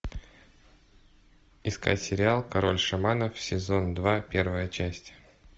искать сериал король шаманов сезон два первая часть